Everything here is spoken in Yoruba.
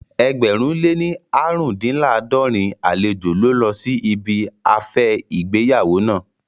Ẹgbẹ̀rún lé ní aarundinlaadorin àlejò ló lọ sí ibi afẹ́ ìgbéyàwó naa